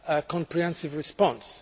comprehensive response.